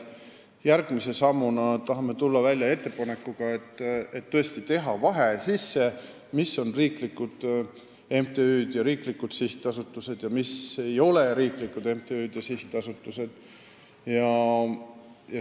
Järgmise sammuna tahame tulla välja ettepanekuga teha tõesti vahe sisse, mis on riiklikud MTÜ-d ja sihtasutused ning mis ei ole riiklikud MTÜ-d ja sihtasutused.